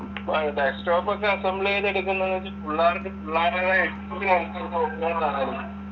desktop ഒക്കെ assemble ചെയ്തെടുക്കുന്നത് വെച്ചാൽ പുള്ളേർക്ക് പുള്ളേരുടേതായ